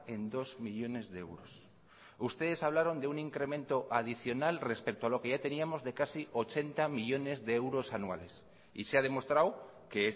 en dos millónes de euros ustedes hablaron de un incremento adicional respecto a lo que ya teníamos de casi ochenta millónes de euros anuales y se ha demostrado que